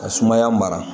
Ka sumaya mara